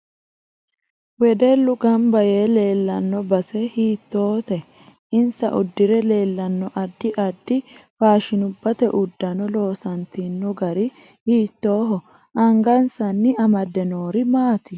Wedellu ganba yee leelanno base hiitoote insa uddire leelanno addi addi faashinubate uddano loosantino gari hiitooho anggansanni amade noori maati